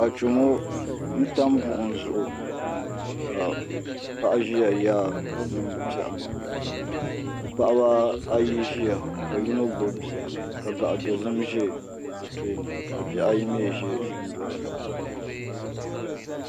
Achomo n tam buɣum zuɣi ka paɣa ʒiya yaarili niŋdi piɛɣu ni ka paɣaba ayi ʒia ka yino gbubi bia ka gaɣa dozim ʒɛ bi tooni ka bihi ayi mii ʒɛ dundoli ni